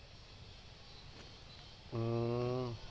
হম